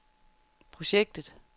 projektet